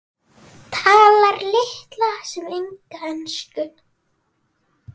Talar litla sem enga ensku.